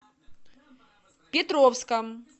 петровском